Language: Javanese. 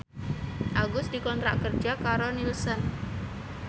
Agus dikontrak kerja karo Nielsen